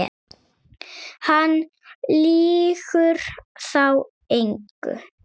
Hann lýgur þá engu.